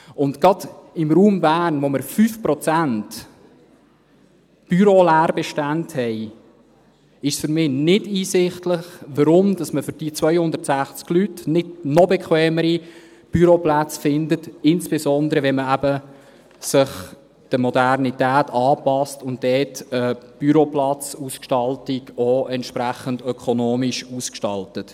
Und gerade im Raum Bern, wo wir 5 Prozent Büroleerbestände haben, ist es für mich nicht ersichtlich, warum man für diese 260 Leute nicht noch bequemere Büroplätze findet, insbesondere eben, wenn man sich der Modernität anpasst und dort die Büroplatzausgestaltung auch entsprechend ökonomisch ausgestaltet.